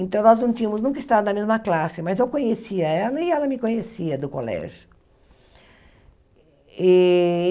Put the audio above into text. Então, nós não tínhamos nunca estado na mesma classe, mas eu conhecia ela e ela me conhecia do colégio. E